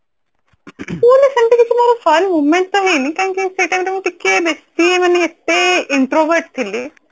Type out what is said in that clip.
school ରେ ସେମିତି କିଛି ମୋର fun moment ତ ହେଇନି କାହିଁକି ନା ସେଇ time ରେ ବେସୀ ମାନେ ଏତେ introvert ଥିଲି